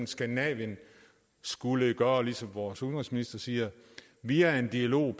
skandinavien skulle gøre ligesom vores udenrigsminister siger og via en dialog